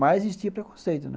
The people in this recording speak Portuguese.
Mas existia preconceito, né?